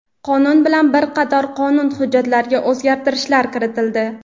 Qonun bilan bir qator qonun hujjatlariga o‘zgartirishlar kiritildi.